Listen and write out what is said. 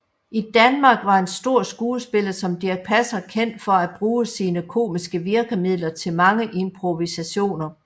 I Danmark var en stor skuespiller som Dirch Passer kendt for at bruge sine komiske virkemidler til mange improvisationer